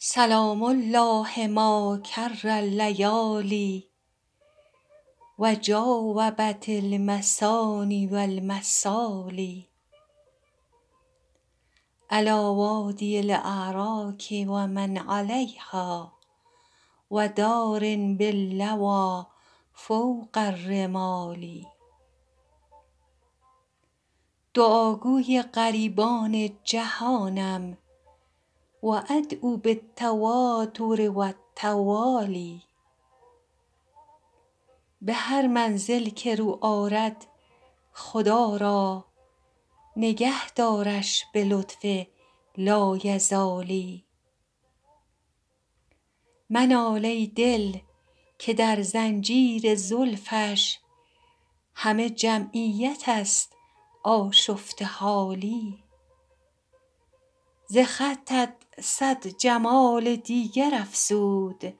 سلام الله ما کر اللیالی و جاوبت المثاني و المثالي علیٰ وادي الأراک و من علیها و دار باللویٰ فوق الرمال دعاگوی غریبان جهانم و أدعو بالتواتر و التوالي به هر منزل که رو آرد خدا را نگه دارش به لطف لایزالی منال ای دل که در زنجیر زلفش همه جمعیت است آشفته حالی ز خطت صد جمال دیگر افزود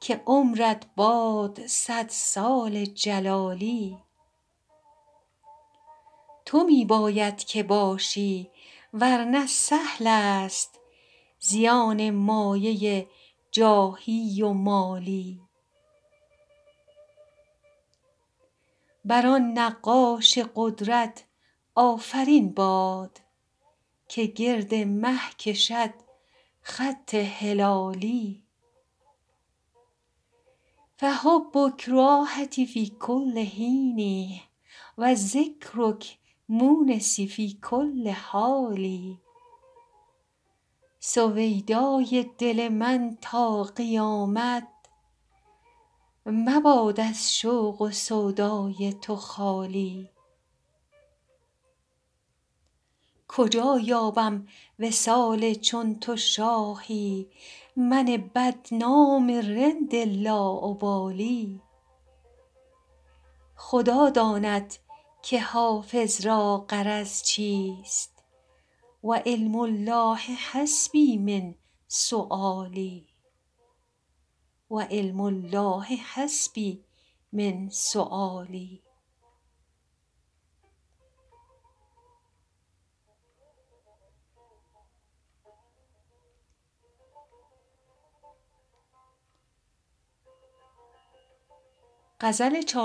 که عمرت باد صد سال جلالی تو می باید که باشی ور نه سهل است زیان مایه جاهی و مالی بر آن نقاش قدرت آفرین باد که گرد مه کشد خط هلالی فحبک راحتی فی کل حین و ذکرک مونسی فی کل حال سویدای دل من تا قیامت مباد از شوق و سودای تو خالی کجا یابم وصال چون تو شاهی من بدنام رند لاابالی خدا داند که حافظ را غرض چیست و علم الله حسبي من سؤالي